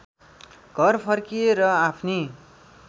घर फर्किए र आफ्नी